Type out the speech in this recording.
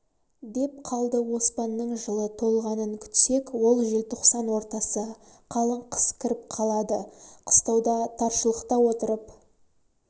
деп қалды оспанның жылы толғанын күтсек ол желтоқсан ортасы қалың қыс кіріп қалады қыстауда таршылықта отырып